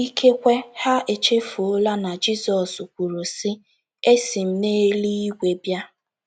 Ikekwe, ha echefuola na Jizọs kwuru, sị: “ Esi m n’eluigwe bịa. ”